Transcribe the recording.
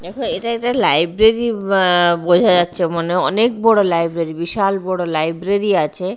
দেখ এটা এটা লাইব্রেরী আ বোঝা যাচ্ছে মানে অনেক বড় লাইব্রেরী বিশাল বড় লাইব্রেরী আছে।